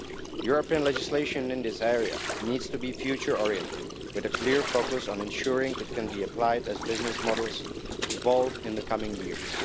European legislation in this area needs to be future oriented with a clear focus on ensuring it can be applied as business models evolve in the coming years.